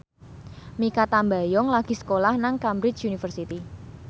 Mikha Tambayong lagi sekolah nang Cambridge University